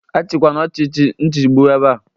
Achịkwana ọchịchị nchigbu ebea!